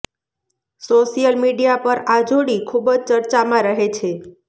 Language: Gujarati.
સોશિયલ મીડિયા પર આ જોડી ખુબજ ચર્ચામાં રહે છે